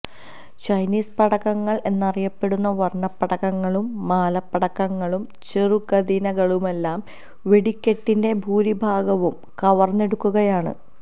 Chinese പടക്കങ്ങള് എന്നറിയപ്പെടുന്ന വര്ണപ്പടക്കങ്ങളും മാലപ്പടക്കങ്ങളും ചെറുകതിനകളുമെല്ലാം വെടിക്കെട്ടിന്റെ ഭൂരിഭാഗവും കവര്ന്നെടുക്കുകയാണ്